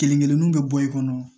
Kelen kelenninw bɛ bɔ i kɔnɔ